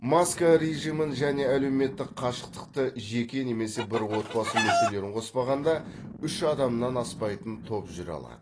маска режимін және әлеуметтік қашықтықты жеке немесе бір отбасы мүшелерін қоспағанда үш адамнан аспайтын топ жүре алады